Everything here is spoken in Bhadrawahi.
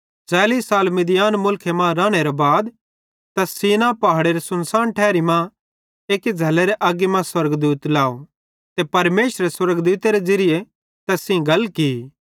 40 साल मिद्यान मुलखे मां रानेरे बाद तैस सीनै पहाड़ेरे सुनसान ठारी मां एक्की झ़ल्लेरी अग्गी स्वर्गदूत लाव ते परमेशरे स्वर्गदूतेरे ज़िरिये तैस सेइं गल की